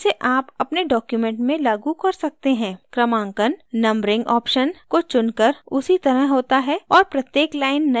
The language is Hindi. क्रमांकन numbering option को चुनकर उसी तरह होता है और प्रत्येक line नये क्रमांक से शुरू होगी